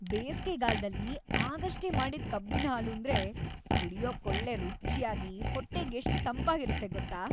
ಬೇಸ್ಗೆಗಾಲ್ದಲ್ಲಿ ಆಗಷ್ಟೇ ಮಾಡಿದ್‌ ಕಬ್ಬಿನ್‌ಹಾಲೂಂದ್ರೆ ಕುಡ್ಯೋಕೊಳ್ಳೆ ರುಚ್ಯಾಗಿ, ಹೊಟ್ಟೆಗೆಷ್ಟ್ ತಂಪಾಗಿರತ್ತೆ‌ ಗೊತ್ತಾ?